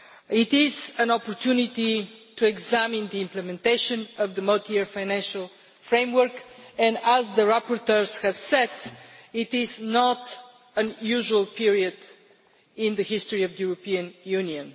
It is an opportunity to examine the implementation of the Multiannual Financial Framework and, as the rapporteurs have said, this is not a usual period in the history of the European Union.